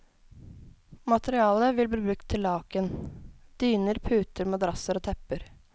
Materialet vil bli brukt til laken, dyner, puter, madrasser og tepper.